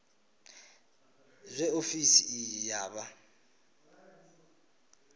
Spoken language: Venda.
zwe ofisi iyi ya vha